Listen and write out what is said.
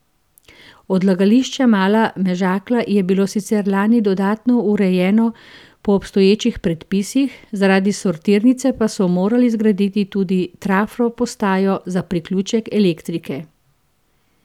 Odlagališče Mala Mežakla je bilo sicer lani dodatno urejeno po obstoječih predpisih, zaradi sortirnice pa so morali zgraditi tudi trafo postajo za priključek elektrike.